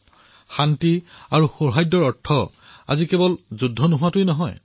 আজি শান্তি আৰু সৌহাৰ্দৰ অৰ্থ কেৱল যুদ্ধ নোহোৱাটোৱেই নহয়